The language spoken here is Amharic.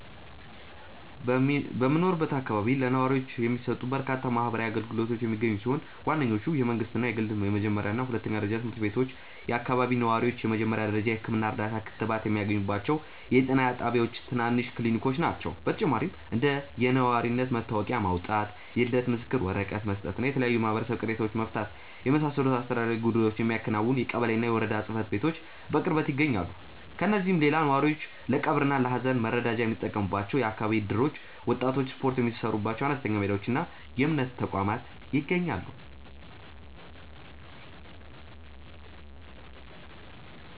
በሚኖርበት አካባቢ ለነዋሪዎች የሚሰጡ በርካታ ማህበራዊ አገልግሎቶች የሚገኙ ሲሆን፣ ዋነኞቹ የመንግሥትና የግል የመጀመሪያና ሁለተኛ ደረጃ ትምህርት ቤቶች፣ የአካባቢው ነዋሪዎች የመጀመሪያ ደረጃ የሕክምና እርዳታና ክትባት የሚያገኙባቸው የጤና ጣቢያዎችና ትናንሽ ክሊኒኮች ናቸው። በተጨማሪም እንደ የነዋሪነት መታወቂያ ማውጣት፣ የልደት ምስክር ወረቀት መስጠትና የተለያዩ የማህበረሰብ ቅሬታዎችን መፍታትን የመሳሰሉ አስተዳደራዊ ጉዳዮችን የሚያከናውኑ የቀበሌና የወረዳ ጽሕፈት ቤቶች በቅርበት ይገኛሉ። ከእነዚህም ሌላ ነዋሪዎች ለቀብርና ለሐዘን መረዳጃ የሚጠቀሙባቸው የአካባቢ እደሮች፣ ወጣቶች ስፖርት የሚሠሩባቸው አነስተኛ ሜዳዎችና የእምነት ተቋማት ይገኛሉ።